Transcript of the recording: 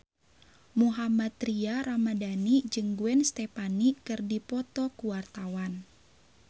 Mohammad Tria Ramadhani jeung Gwen Stefani keur dipoto ku wartawan